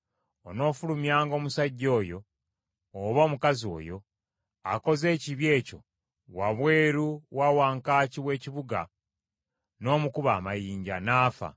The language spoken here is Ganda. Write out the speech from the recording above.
onoofulumyanga omusajja oyo, oba omukazi oyo, akoze ekibi ekyo, wabweru wa wankaaki w’ekibuga n’omukuba amayinja, n’afa.